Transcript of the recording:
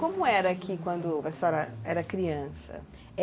Como era aqui quando a senhora era criança?